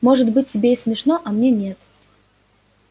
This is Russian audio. может быть тебе и смешно а мне нет